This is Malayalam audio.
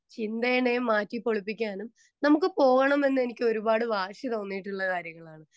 സ്പീക്കർ 2 ചിന്തേനെ മാറ്റി പൊളിപ്പിക്കാനും നമ്മുക്ക് പോകണം എന്നെനിക്ക് വാശിതോന്നിയിട്ടുള്ള കാര്യങ്ങളാണ്.